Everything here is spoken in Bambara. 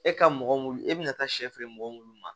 E ka mɔgɔ mulu e bɛna taa sɛ mɔgɔ minnu ma